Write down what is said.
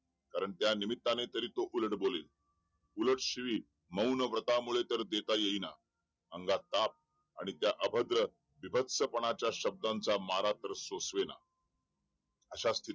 कारण त्या निमित्याने तरी ती उलट बोलले उलट शिवी मौनव्रता मुळे तर देता येईना अंगात ताप आणि त्या अभद्र विभस्तपणाच्या शब्दाचा मारा सोसावे ना अश्या स्तिथीत